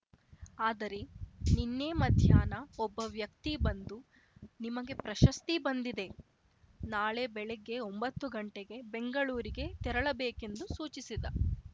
ಆದರೆ ನಿನ್ನೆ ಮಧ್ಯಾಹ್ನ ಒಬ್ಬ ವ್ಯಕ್ತಿ ಬಂದು ನಿಮಗೆ ಪ್ರಶಸ್ತಿ ಬಂದಿದೆ ನಾಳೆ ಬೆಳಿಗ್ಗೆ ಒಂಬತ್ತು ಗಂಟೆಗೆ ಬೆಂಗಳೂರಿಗೆ ತೆರಳಬೇಕೆಂದು ಸೂಚಿಸಿದ